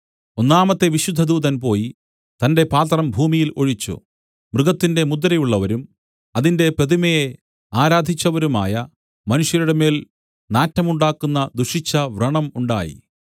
ഒന്നാമത്തെ ദൂതൻ പോയി തന്റെ പാത്രം ഭൂമിയിൽ ഒഴിച്ചു മൃഗത്തിന്റെ മുദ്രയുള്ളവരും അതിന്റെ പ്രതിമയെ ആരാധിച്ചവരുമായ മനുഷ്യരുടെമേൽ നാറ്റമുണ്ടാക്കുന്ന ദുഷിച്ച വ്രണം ഉണ്ടായി